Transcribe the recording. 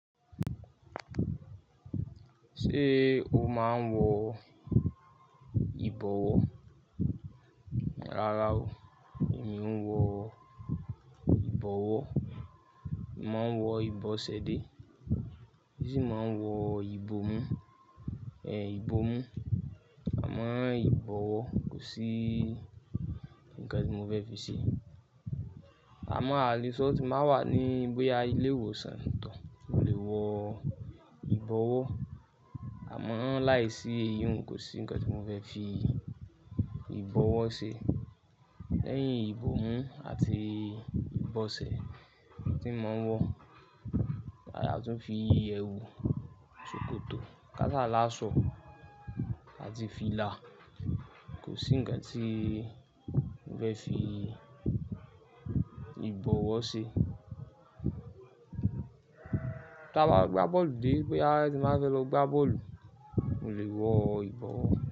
Ṣé o máa ń wọ ìbọwọ́? Rárá o, èmi ò ń wọ ìbọwọ́. Mo máa ń wọ ìbọ̀sẹ̀ dé, bí mo máa ń wọ ìbò mu, ìbò mu. Àmọ́ ìbọwọ́ kò sí nǹkan tí mo fẹ́ fi ṣe. Àmọ́ àléṣọ́ tí mo ba wà ní boya ilé ìwòsàn táo, mo lè wọ ìbọwọ́. Àmọ́ láìsí íyún kò sí ǹkan tí mo fẹ́ fi ìbọwọ́ ṣe. Lẹ́yìn ìbò mi àti ìbọ̀sẹ̀ tí mo máa ń wọ, àti fi ẹwù, ṣòkòtò, kásálá, aṣọ àti fìlà. Kò sí ǹkan tí mo fẹ́ fi ìbọwọ́ ṣe. Tí a bá gbá bọ́ọ̀lù dé pé a ti máa fẹ́ lọ gbá bọ́ọ̀lù, mò lè wọ ìbọwọ́